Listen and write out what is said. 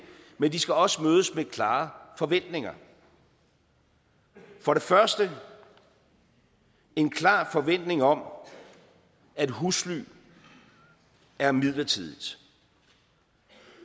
men de skal også mødes med klare forventninger for det første en klar forventning om at husly er midlertidigt